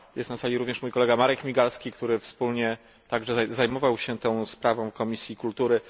Jest na sali również mój kolega Marek Migalski, który także zajmował się tą sprawą Komisji Kultury.